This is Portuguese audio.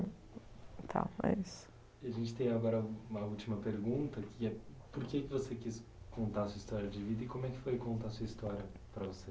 e tal, é isso. A gente tem agora uma última pergunta, que é por que você quis contar sua história de vida e como é que foi contar sua história para você?